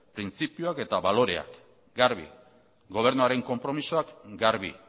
printzipioak eta baloreak garbi gobernuaren konpromisoak garbi